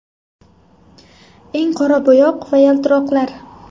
Eng qora bo‘yoq va yaltiroqlar.